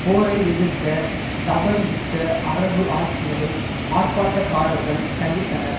போரை எதிர்க்க தவறிவிட்ட அரபு ஆட்சிகளை ஆர்ப்பாட்டக்காரர்கள் கண்டித்தனர்